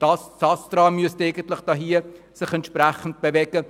Das ASTRA müsste sich entsprechend bewegen.